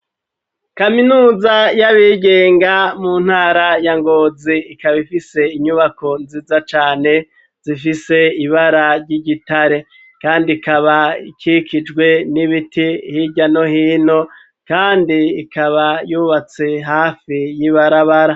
kaminuza y'abigenga mu ntara ya Ngozi ikaba ifise inyubako nziza cane zifise ibara ry'igitare, kandi ikaba ikikijwe n'ibiti hirya no hino, kandi ikaba yubatse hafi y'ibarabara.